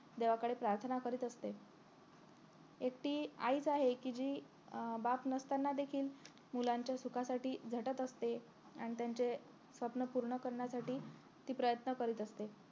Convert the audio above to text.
देवाकडे प्रार्थना करीत असते एकटी आईच आहे कि जी अं बाप नसताना देखील मुलांच्या सुखासाठी झटत असते आणि त्यांचे स्वप्न पूर्ण करण्यासाठी ती प्रयन्त करीत असते